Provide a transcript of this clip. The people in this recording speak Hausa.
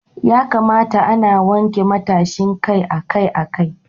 Ya kamata ana wanke matashin kai akai-akai.